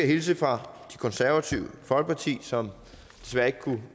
hilse fra det konservative folkeparti som desværre ikke kan